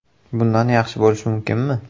Bundan yaxshi bo‘lishi mumkinmi?